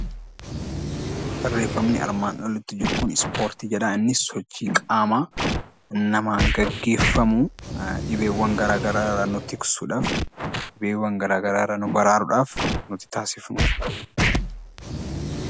Barreeffamni armaan olitti jiru kun ispoortii jedha. Innis sochii qaamaa namaan geggeeffamu dhibeewwan garaagaraa irraa nu tiksuudhaaf dhibeewwan garaagaraa irraa nu baraaruudhaaf nuti taasisfnuu dha.